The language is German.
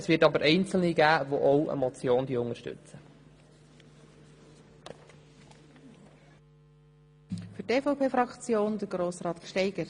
Es wird aber Einzelne geben, die auch eine Motion unterstützen.